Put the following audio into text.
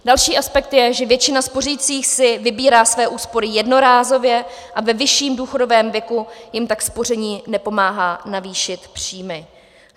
Další aspekt je, že většina spořících si vybírá své úspory jednorázově a ve vyšším důchodovém věku jim tak spoření nepomáhá navýšit příjmy.